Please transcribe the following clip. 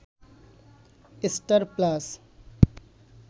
star plus